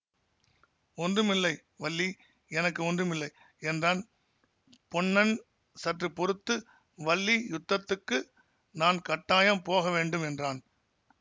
ஒன்றுமில்லை வள்ளி எனக்கு ஒன்றுமில்லை என்றான் பொன்னன் சற்று பொறுத்து வள்ளி யுத்தத்துக்கு நான் கட்டாயம் போக வேண்டும் என்றான்